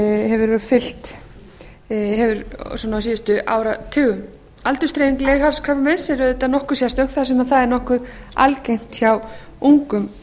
hefur fylgt á síðustu áratugum aldursdreifing leghálskrabbameins er auðvitað nokkuð sérstök þar sem það er nokkuð algengt hjá ungum